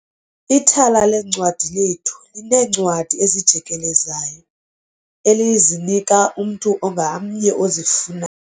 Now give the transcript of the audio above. Ithala leencwadi lethu lineencwadi ezijikelezayo elizinika umntu ngamnye ozifuna